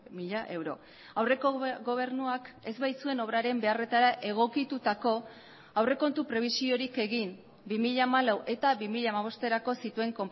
mila euro aurreko gobernuak ez baitzuen obraren beharretara egokitutako aurrekontu prebisiorik egin bi mila hamalau eta bi mila hamabosterako zituen